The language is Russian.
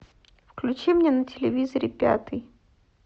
включи мне на телевизоре пятый